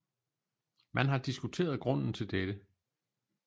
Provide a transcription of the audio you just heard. Man har diskuteret grunden til dette